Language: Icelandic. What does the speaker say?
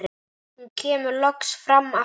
Hún kemur loks fram aftur.